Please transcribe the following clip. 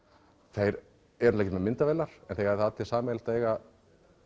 þeir eru ekki með myndavélar en eiga allir sameiginlegt að eiga